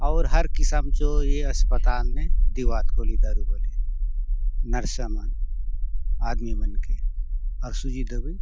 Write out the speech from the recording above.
आउर हर किस्म चो ये अस्पताल ने देहुआत गोली दारु बले नर्सा मन आदमी मन के अउर सुजी दवाई --